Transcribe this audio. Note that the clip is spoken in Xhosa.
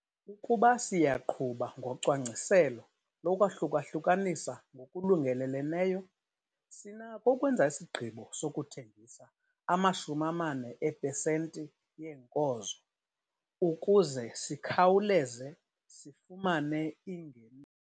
Ukuba siyaqhuba ngocwangciselo lokwahluka-hlukanisa ngokulungeleleneyo, sinako ukwenza isigqibo sokuthengisa ama-40 eepesenti yeenkozo ukuze sikhawuleze sifumane ingeni